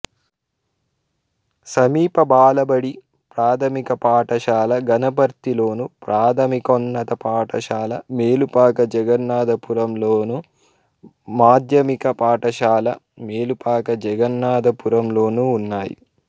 సమీప బాలబడి ప్రాథమిక పాఠశాల గనపర్తిలోను ప్రాథమికోన్నత పాఠశాల మేలుపాక జగన్నాధపురంలోను మాధ్యమిక పాఠశాల మేలుపాక జగన్నాధపురంలోనూ ఉన్నాయి